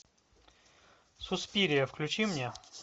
суспирия включи мне